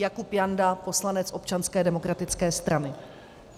Jakub Janda, poslanec Občanské demokratické strany.